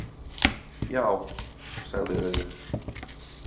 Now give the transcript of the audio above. Já, sagði Auðunn.